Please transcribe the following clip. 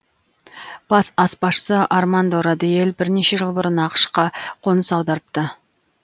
бас аспазшы армандо родиэль бірнеше жыл бұрын ақш қа қоныс аударыпты